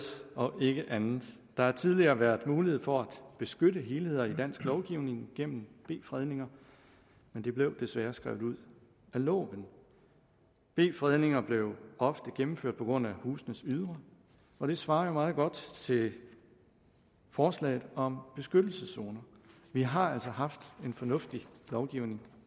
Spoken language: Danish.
og ikke andet der har tidligere været mulighed for at beskytte helheder i dansk lovgivning igennem b fredninger men det blev desværre skrevet ud af loven b fredninger blev ofte gennemført på grund af husenes ydre og det svarer meget godt til forslaget om beskyttelseszoner vi har altså haft en fornuftig lovgivning